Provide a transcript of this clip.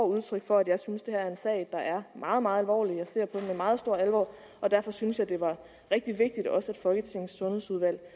udtryk for at jeg synes at det her er en sag der er meget meget alvorlig jeg ser på med meget stor alvor og derfor syntes jeg det var rigtig vigtigt at også folketingets sundhedsudvalg